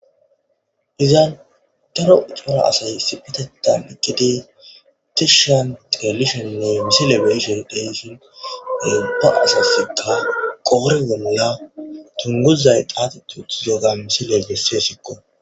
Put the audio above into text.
Iza daro macca asay issipitetan eqqidi tishshan telishonne misile be'ishshe de'ishshin ba asasikka qoori wumula dunguzay xaaxeti utiddogga misiley besessisikko